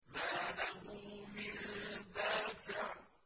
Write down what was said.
مَّا لَهُ مِن دَافِعٍ